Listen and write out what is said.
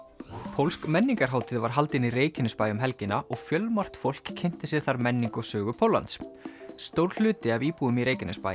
pólsk menningarhátíð var haldin í Reykjanesbæ um helgina og fjölmargt fólk kynnti sér þar menningu og sögu Póllands stór hluti af íbúum í Reykjanesbæ